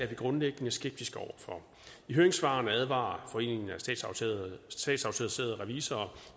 vi grundlæggende skeptiske over for i høringssvarene advarer foreningen af statsautoriserede revisorer